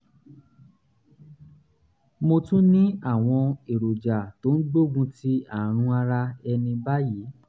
mo tún ní àwọn èròjà tó ń gbógun ti àrùn ara ẹni báyìí